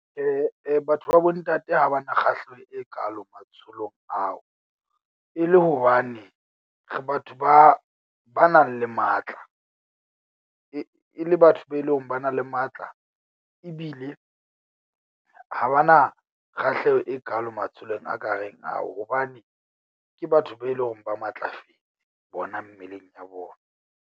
Batho ba bo ntate ha ba na kgahleho e kaalo matsholong ao. E le hobane re batho ba ba nang le matla, e le batho be eleng ba na le matla, ebile ha ba na kgahleho e kaalo matsholong a ka reng ao. Hobane ke batho be eleng hore ba matlafetse bona mmeleng ya bona.